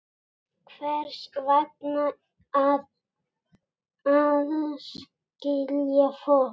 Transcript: Hvers vegna að aðskilja fólk?